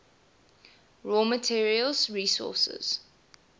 raw materials sources